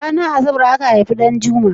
Ranar asabar aka haifi Ɗanjuma?